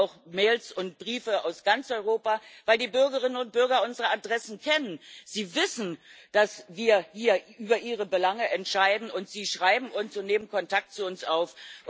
Ich kriege auch Mails und Briefe aus ganz Europa, weil die Bürgerinnen und Bürger unsere Adressen kennen. Sie wissen, dass wir hier über ihre Belange entscheiden, und sie schreiben uns und nehmen Kontakt zu uns auf.